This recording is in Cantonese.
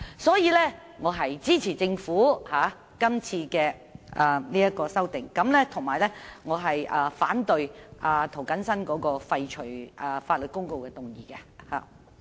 所以，我支持政府的修訂，反對涂謹申議員提出的廢除法律公告的議案。